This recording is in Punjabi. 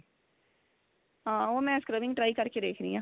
ਹਾਂ ਉਹ ਮੈ scrubbing try ਕ਼ਰ ਕੇ ਦੇਖਦੀ ਆ